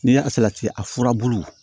N'i y'a salati a furabulu